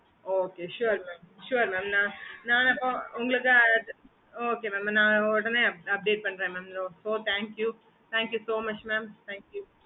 okay mam